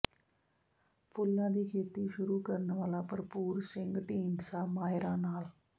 ਫੁੱਲਾਂ ਦੀ ਖੇਤੀ ਸ਼ੁਰੂ ਕਰਨ ਵਾਲਾ ਭਰਪੂਰ ਸਿੰਘ ਢੀਂਡਸਾ ਮਾਹਿਰਾਂ ਨਾਲ